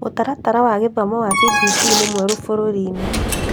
Mũtaratara wa gĩthomo wa CBC nĩ mwerũ bũrũri -inĩ